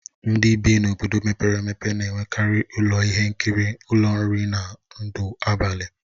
Ndị bi n'obodo mepere emepe na-enwekarị ụlọ ihe nkiri, ụlọ nri, na ndụ abalị.